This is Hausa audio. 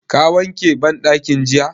Ka wanke banɗakin jiya?